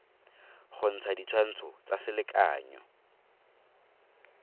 go ntsha ditshwantsho tsa selekanyo